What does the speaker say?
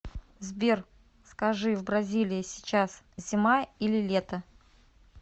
сбер скажи в бразилии сейчас зима или лето